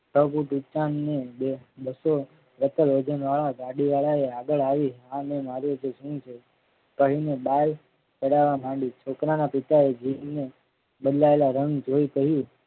વજનવાળા ગાડી વાળાએ આગળ આવી આને માર્યો છે શું છે. કહી ને બાઈ ચડવા માંડી છોકરાના પિતાએ જીભના બદલાયેલા રંગ જોઈ કહ્યું.